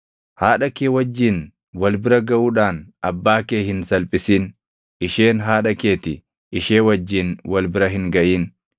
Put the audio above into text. “ ‘Haadha kee wajjin wal bira gaʼuudhaan abbaa kee hin salphisin; isheen haadha kee ti; ishee wajjin wal bira hin gaʼin.